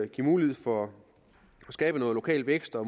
give mulighed for at skabe noget lokal vækst og